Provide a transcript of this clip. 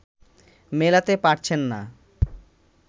মেলাতে পারছেন না